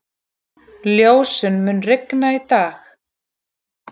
Ljósunn, mun rigna í dag?